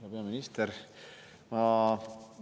Hea peaminister!